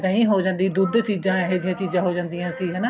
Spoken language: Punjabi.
ਦਹੀਂ ਹੋ ਜਾਂਦੀ ਦੁੱਧ ਚੀਜਾਂ ਇਹ ਜੀਆਂ ਚੀਜਾਂ ਹੋ ਜਾਦੀਆਂ ਸੀ ਹਨਾ